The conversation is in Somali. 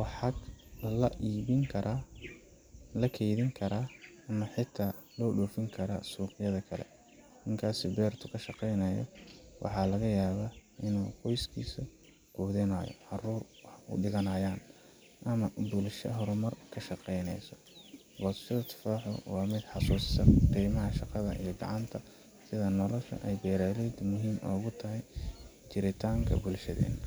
waxaa la iibin karaa, la keydin karaa, ama xitaa loo dhoofin karaa suuqyada kale. Ninkaas beerta ka shaqaynaya, waxaa laga yaabaa in uu qoyskiisa quudinayo, caruur wax u dhiganayan, ama bulshada horumar ka shaqeynaayo. Goosashada tufaaxa waxay i xasuusisaa qiimaha shaqada gacanta iyo sida nolosha beeraleydu ay muhiim ugu tahay jiritaanka bulshadeenna.